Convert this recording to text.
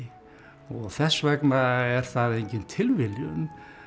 og þess vegna er það engin tilviljun